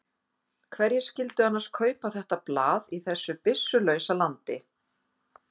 Hverjir skyldu annars kaupa þetta blað í þessu byssulausa landi?